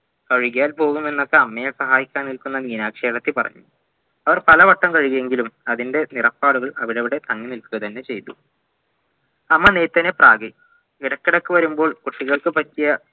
കഴുകിയാൽപോവുമെന്നൊക്കെ അമ്മയെ സഹായിക്കാനെയെത്തുന്ന മീനാക്ഷിയേട്ടത്തി പറഞ്ഞു അവർ പലവട്ടം കഴുകിയെങ്കിലും അതിന്റെ നിറപാടുകൾ അവിടവിടെ തങ്ങി നിൽക്കുക തന്നെ ചെയ്തു അമ്മനെത്തന്നെ പ്രാകി ഇടക്കിടക്ക് വരുമ്പോൾ കുട്ടികൾക്ക് പറ്റിയ